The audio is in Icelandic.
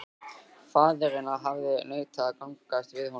Faðirinn hafði neitað að gangast við honum.